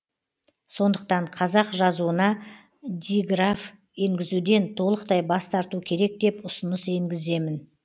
сондықтан қазақ жазуына диграф енгізуден толықтай бас тарту керек деп ұсыныс енгіземін